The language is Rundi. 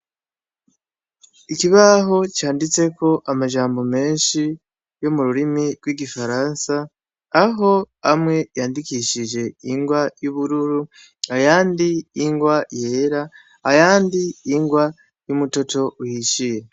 Ikibaho canditseko amajambo menshi yo mu rurimi rw'igifaransa, aho amwe yandikishije ingwa y 'ubururu, ayandi ingwa yera , ayandi ingwa y'umutoto uhishiye.